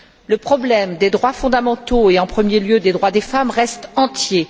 Le problème des droits fondamentaux et, en premier lieu, des droits des femmes, reste entier.